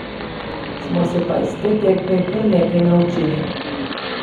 Smo se pa iz te tekme kar nekaj naučili.